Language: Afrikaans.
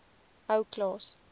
ou klaas